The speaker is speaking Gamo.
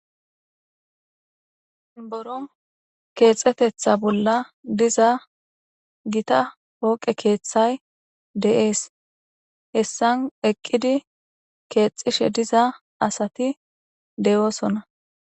boron keexetetha bolla diza gita hooqe keeththay de7ees hessan eqqidi keexishe diza asati deyoosonna